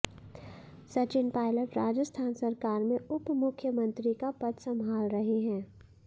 सचिन पायलट राजस्थान सरकार में उप मुख्यमंत्री का पद संभाल रहे हैं